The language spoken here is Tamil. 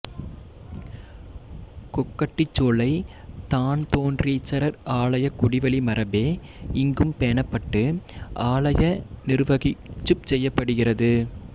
கொக்கட்டிச்சோலை தான்தோன்றீச்சரர் ஆலயக் குடிவழிமரபே இங்கும் பேணப்பட்டு ஆலய நிருவகிப்புச் செய்யப்படுகிறது